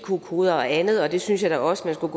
qr koder og andet og det synes jeg da også man skulle